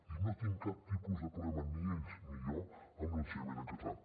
i no tinc cap tipus de problema ni ells ni jo amb l’ensenyament en català